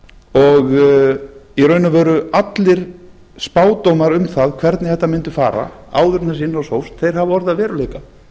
og í raun og veru allir spádómar um það hvernig þetta mundi fara áður en þessi innrás hófst hafa orðið að veruleika